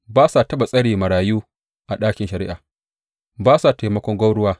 Ba sa taɓa tsare marayu a ɗakin shari’a; ba sa taimakon gwauruwa.